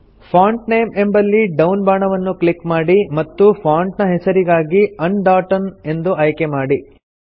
font name ಎಂಬಲ್ಲಿ down ಬಾಣವನ್ನು click ಮಾಡಿ ಮತ್ತು ಫಾಂಟ್ ನ ಹೆಸರಿಗಾಗಿ ಅಂಡೋಟಮ್ ಎಂದು ಆಯ್ಕೆ ಮಾಡಿ